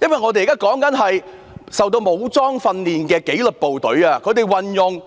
我們現在討論的，是曾接受武裝訓練的紀律部隊，他們運用